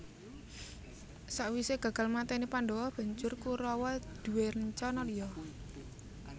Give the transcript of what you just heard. Sakwisé gagal mateni Pandhawa banjur Kurawa duwé rencana liya